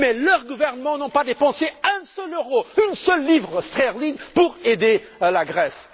Mais leur gouvernement n'a pas dépensé un seul euro, une seule livre sterling pour aider la Grèce.